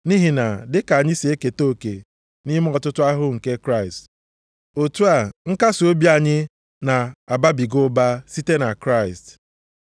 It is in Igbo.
Nʼihi na dịka anyị si eketa oke nʼime ọtụtụ ahụhụ nke Kraịst, otu a nkasiobi anyị na-ababiga ụba site na Kraịst.